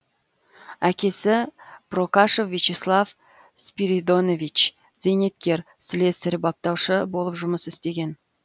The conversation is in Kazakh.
әкесі прокашев вячеслав спиридонович зейнеткер слесарь баптаушы болып жұмыс істеген